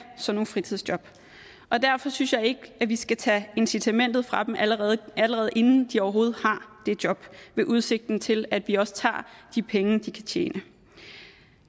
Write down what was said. sådan nogle fritidsjob derfor synes jeg ikke at vi skal tage incitamentet fra dem allerede allerede inden de overhovedet har de job ved udsigten til at vi også tager de penge de kan tjene